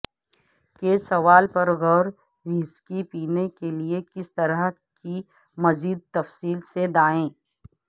کے سوال پر غور وہسکی پینے کے لئے کس طرح کی مزید تفصیل سے دائیں